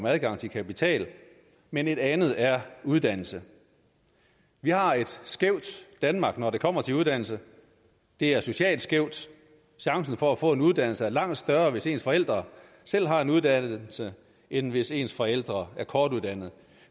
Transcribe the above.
adgang til kapital men et andet er uddannelse vi har et skævt danmark når det kommer til uddannelse det er socialt skævt chancen for få en uddannelse er langt større hvis ens forældre selv har en uddannelse end hvis ens forældre er kortuddannede